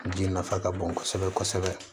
Ji nafa ka bon kosɛbɛ kosɛbɛ